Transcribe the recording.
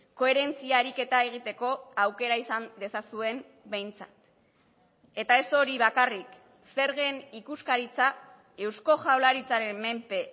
koherentzia ariketa egiteko aukera izan dezazuen behintzat eta ez hori bakarrik zergen ikuskaritza eusko jaurlaritzaren menpe